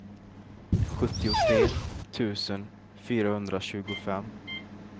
sjuttiotre tusen fyrahundratjugofem